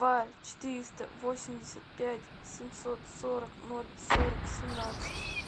два четыреста восемьдесят пять семьсот сорок ноль сорок семнадцать